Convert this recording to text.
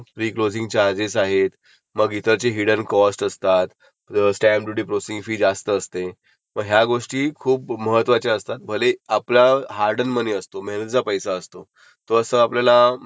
विचार करून केला पाहिजे. आणि राहिली गोष्ट नंतर थर्ड पार्ट जो येतो तो ऍक्सेसरीजचा. ते ऍक्सेसरीजचा ते मी तुला सांगतो. तर तुला फायनान्समध्ये काही समजल नसेल तर तू मला विचार.